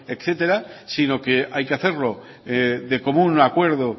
etcétera sino que hay que hacerlo de común acuerdo